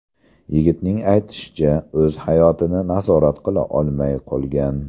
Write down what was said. Yigitning aytishicha, o‘z hayotini nazorat qila olmay qolgan.